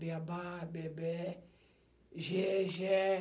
Bê a bá, bê é bé, gê é gé.